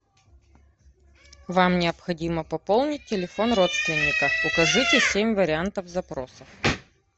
вам необходимо пополнить телефон родственника укажите семь вариантов запроса